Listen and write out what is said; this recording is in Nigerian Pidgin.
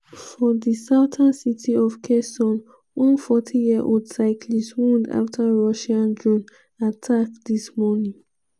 • for di southern city of kherson one 40-year-old cyclist wound afta russian drone attack dis morning.